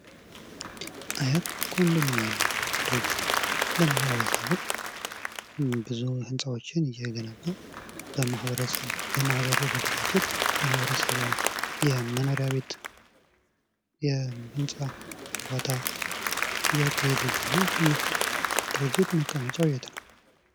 አያት ኮንዶሚኒየም ሪልስቴት ለማህበረሰቡ ብዙ ህንጻዎችን እየገነባ በማህበር በመደራጀት ለማህበረሰቡ የመኖሪያ ቤት ግንባታ እያካሄደ ይገኛል። ይህ ድርጅት መቀመጫው የት ነው።